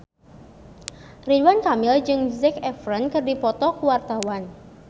Ridwan Kamil jeung Zac Efron keur dipoto ku wartawan